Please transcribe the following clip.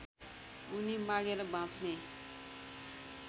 उनी मागेर बाँच्ने